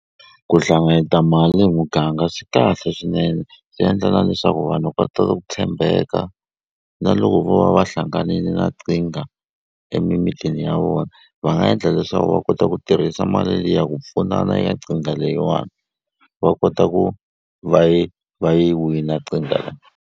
Ku hlanganyeta mali hi muganga swi kahle swinene swi endla na leswaku vanhu va tala ku tshembeka na loko vo va va hlanganini na emimitini ya vona va nga endla leswaku va kota ku tirhisa mali liya ku pfunana ya nkingha leyiwani va kota ku va yi va yi wina .